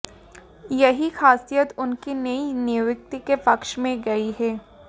यही खासियत उनकी नई नियुक्ति के पक्ष में गई है